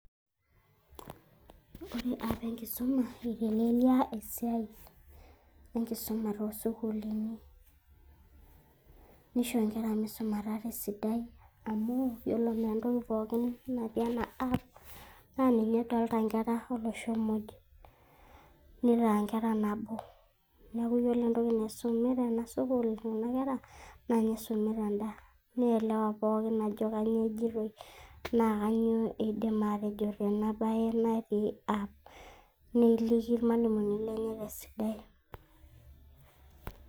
Ore apps ,eitelelia esiai enkisuma to sukuuluni. Nisho nkera misumata tesidai, amu yiolo entoki pookin natii ena app ,na ninye edoolta nkera olosho moj. Nitaa nkera nabo. Neeku yiolo entoki naisumi tena sukuul nena kera, na ninye eisumita en~da. Neielewa pookin ajo kanyioo ejitoi, na kanyioo eidim atejo tena bae natii app. Nekiki ilmalimuni lenye tesidai.